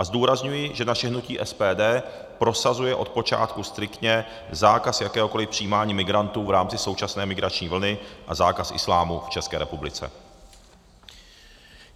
A zdůrazňuji, že naše hnutí SPD prosazuje od počátku striktně zákaz jakéhokoliv přijímání migrantů v rámci současné migrační vlny a zákaz islámu v České republice.